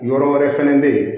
Yɔrɔ wɛrɛ fɛnɛ bɛ ye